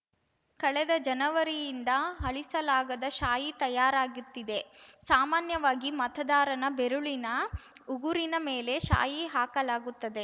ಕಳೆದ ಜನವರಿಯಿಂದ ಅಳಿಸಲಾಗದ ಶಾಯಿ ತಯಾರಾಗುತ್ತಿದೆ ಸಾಮಾನ್ಯವಾಗಿ ಮತದಾರನ‌ ಬೆರಳಿನ ಉಗುರಿನ ಮೇಲೆ ಶಾಯಿ ಹಾಕಲಾಗುತ್ತದೆ